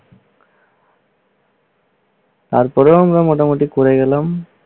তারপরেও আমরা মোটামুটি করে গেলাম।